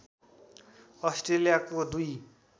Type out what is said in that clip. अस्ट्रेलियाको दुई